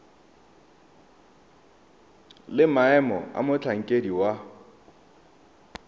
le maemo a motlhankedi wa